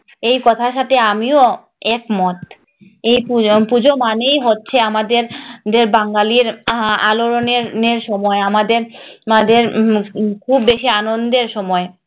এই কথার সাথে আমিও একমত এই পুজো পুজো মানেই হচ্ছে আমাদের আমাদের বাঙালির আলোড়নের সময় আমাদের উম খুব বেশি আনন্দের সময়